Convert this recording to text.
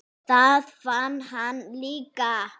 Það vann hann líka.